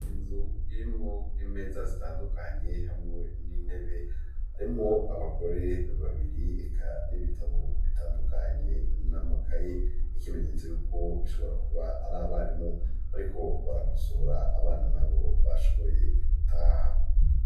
Inzu irimwo imeza zitandukanye hamwe n'intebe, harimwo abagore babiri eka n'ibitabo bitandukanye n'amakaye ni ikimenyetso y'uko bishobora kuba ari abarimu bariko barakosora, abana nabo bashoboye gutaha.